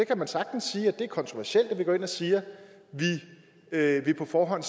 kan sagtens sige at det er kontroversielt at vi går ind og siger at vi på forhånd